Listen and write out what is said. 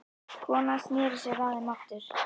Konan sneri sér að þeim aftur.